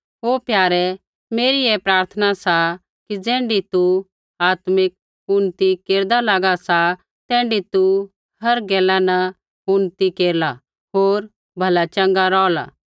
ओ प्यारे मेरी ऐ प्रार्थना सा कि ज़ैण्ढी तू आत्मिक उन्नति केरदा लागा सा तैण्ढी तू हर गैला न उन्नति केरला होर भला चँगा रौहला